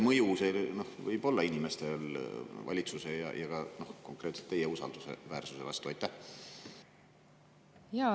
Milline on selle mõju valitsuse ja ka konkreetselt teie usaldusväärsusele?